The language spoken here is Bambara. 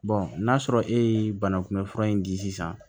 n'a sɔrɔ e ye banakunbɛn fura in di sisan